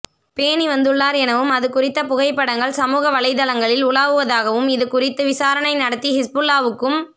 பேணி வந்துள்ளார் எனவும் அது குறித்த புகைப்படங்கள் சமூக வலைத்தளங் களில் உலாவுவதாகவும் இது குறித்து விசாரணை நடத்தி ஹிஸ்புல்லாவுக்கும்